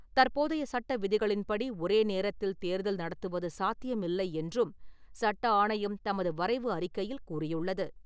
தற்போதைய சட்ட விதிகளின்படி ஒரே நேரத்தில் தேர்தல் நடத்துவது சாத்தியமில்லை என்றும் சட்ட ஆணையம் தமது வரைவு அறிக்கையில் கூறியுள்ளது.